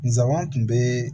Nsaaban tun bɛ